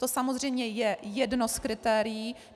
To samozřejmě je jedno z kritérií.